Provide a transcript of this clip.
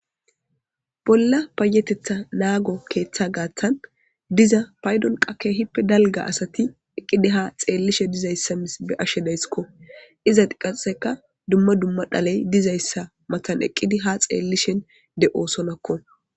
Bolla payetetha naago keeththa gaaththan diza paydon qake hippe dalga asati eqqidi ha xeellishe dizayssa mis be ashshe daysskko iza diqaseka dumma dumma dhaley dizayssa matan eqqidi ha xeellishen de oosonakko.